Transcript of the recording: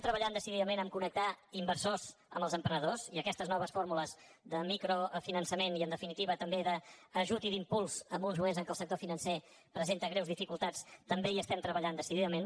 treballem decididament a connectar inversors amb els emprenedors i aquestes noves fórmules de microfinançament i en definitiva també d’ajut i d’impuls en uns moments en què el sector financer presenta greus dificultats també hi treballem decididament